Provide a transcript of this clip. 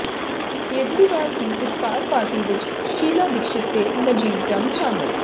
ਕੇਜਰੀਵਾਲ ਦੀ ਇਫ਼ਤਾਰ ਪਾਰਟੀ ਵਿੱਚ ਸ਼ੀਲਾ ਦੀਕਸ਼ਿਤ ਤੇ ਨਜੀਬ ਜੰਗ ਸ਼ਾਮਲ